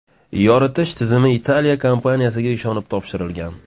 Yoritish tizimi Italiya kompaniyasiga ishonib topshirilgan.